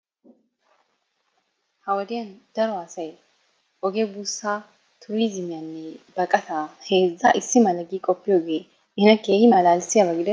Ha wodiyan daro asay oge buussa, tuuriziyanne baqataa heezza issi mala gi qopiyooge nena keehin malalissiyaaba gidenee?